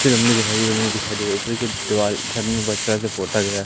अच्छी लम्बी हरी भरी दिखाई दे रही ऊपर की दीवाल